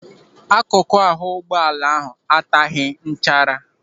Akụkụ ahụ ụgbọala ahụ ataghị nchara.